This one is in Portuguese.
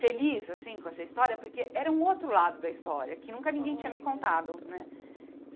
feliz assim com essa história, porque era um outro lado da história, que nunca ninguém tinha me contado né.